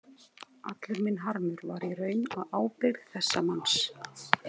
Allur minn harmur var í raun á ábyrgð þessa manns.